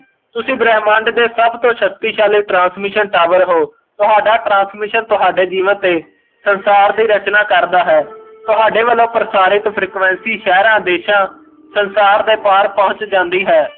ਤੁਸੀ ਬ੍ਰਹਮੰਡ ਦੇ ਸਭ ਤੋਂ ਸ਼ਕਤੀਸ਼ਾਲੀ transmission tower ਹੋ ਤੁਹਾਡਾ transmission ਤੁਹਾਡੇ ਜੀਵਨ ਤੇ ਸੰਸਾਰ ਦੀ ਰਚਨਾਂ ਕਰਦਾ ਹੈ ਤੁਹਾਡੇ ਵਲੋਂ ਪ੍ਰਸਾਰਿਤ frequency ਸਹਿਰਾ ਦੇਸ਼ਾਂ ਸੰਸਾਰ ਤੇ ਪਾਰ ਪਹੁੱਚ ਜਾਂਦੀ ਹੈ